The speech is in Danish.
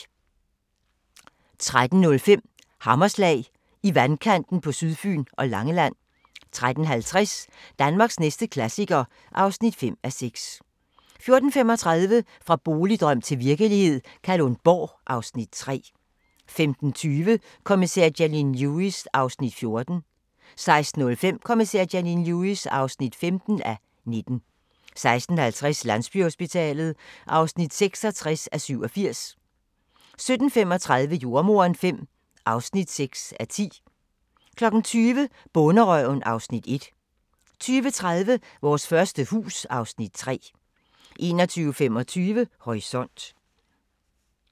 13:05: Hammerslag – I vandkanten på Sydfyn og Langeland 13:50: Danmarks næste klassiker (5:6) 14:35: Fra boligdrøm til virkelighed – Kalundborg (Afs. 3) 15:20: Kommissær Janine Lewis (14:19) 16:05: Kommissær Janine Lewis (15:19) 16:50: Landsbyhospitalet (66:87) 17:35: Jordemoderen V (6:10) 20:00: Bonderøven (Afs. 1) 20:30: Vores første hus (Afs. 3) 21:25: Horisont